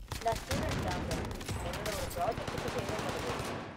நான் ஸ்டூடண்ட் தாங்க, என்னோட ஒரு ப்ராஜக்ட்டுக்கு தேவப்படுது.